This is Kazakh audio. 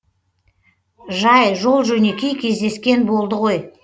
жай жол жөнекей кездескен болды ғой